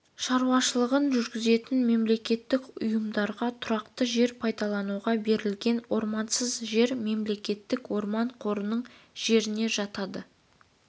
шаруашылығын жүргізетін мемлекеттік ұйымдарға тұрақты жер пайдалануға берілген ормансыз жер мемлекеттік орман қорының жеріне жатады